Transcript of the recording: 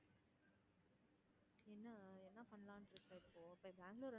என்னா என்னா பண்ணலாம்னு இருக்க இப்போ போயி பெங்களூர்